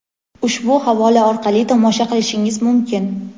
ushbu havola orqali tomosha qilishingiz mumkin.